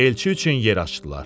Elçi üçün yer açdılar.